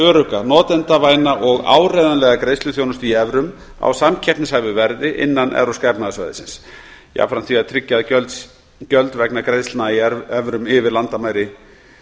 örugga notendavæna og áreiðanlega greiðsluþjónustu í evrum á samkeppnishæfu verði innan evrópska efnahagssvæðisins jafnframt því að tryggja að gjöld vegna greiðslna í evrum yfir landamæri